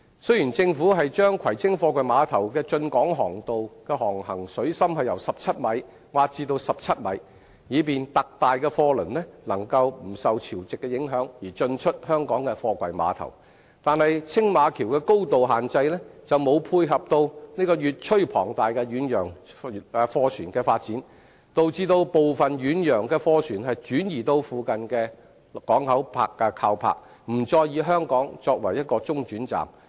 雖然政府把葵青貨櫃碼頭的進港航道的航行水深由15米挖至17米，以便特大的貨櫃輪能夠不受潮汐的影響而進出香港的貨櫃碼頭，但青馬橋的高度限制卻沒有配合越趨龐大的遠洋貨船的發展，導致部分遠洋的貨船轉移至附近的港口靠泊，不再以香港作為中轉站。